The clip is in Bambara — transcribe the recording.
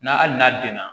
N'a hali n'a denna